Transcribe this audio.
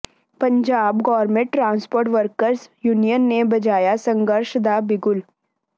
Punjab government transport workers union ਨੇ ਵਜਾਇਆ ਸੰਘਰਸ਼ ਦਾ ਬਿਗੁਲ